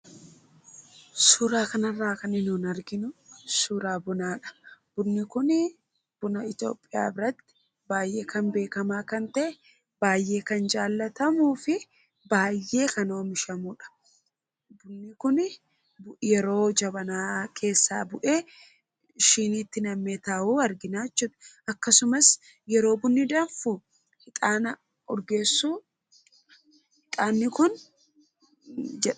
Suuraa kanarraa kan nuti arginu suuraa bunadha. Suurri kun buna Itoophiyaa baay'ee kan beekamaa ta'e baay'ee kan jaallatamuu fi baay'ee kan oomishamudha. Kun yeroo jabanaa keessaa bu'ee shiiniitti nam'ee taa'u argina. Akkasumas yeroo bunni danfu ixaana urgeessu.